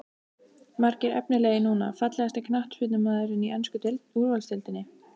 Margir efnilegir núna Fallegasti knattspyrnumaðurinn í ensku úrvalsdeildinni?